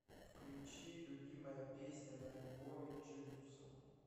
включи любимая песня на альбоме джизуса